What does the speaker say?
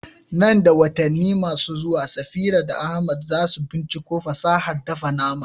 Nan da watanni masu zuwa, Safira da Ahmad za su binciko fasahar dafa nama.